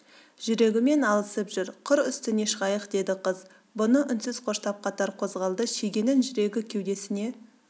жүрегімен алысып жүр қыр үстіне шығайық деді қыз бұны үнсіз қоштап қатар қозғалды шегенің жүрегі кеудесіне